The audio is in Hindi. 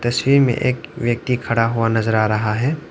स्वी में एक व्यक्ति खड़ा हुआ नजर आ रहा है।